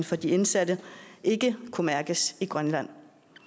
for de indsatte ikke kunne mærkes i grønland